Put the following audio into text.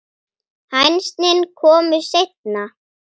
Hænsnin komu seinna.